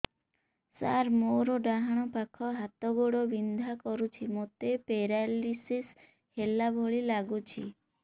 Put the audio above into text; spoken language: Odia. ସାର ମୋର ଡାହାଣ ପାଖ ହାତ ଗୋଡ଼ ବିନ୍ଧା କରୁଛି ମୋତେ ପେରାଲିଶିଶ ହେଲା ଭଳି ଲାଗୁଛି